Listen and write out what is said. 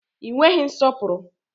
Ị nweghị nsọpụrụ!